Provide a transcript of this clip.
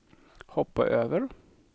hoppa över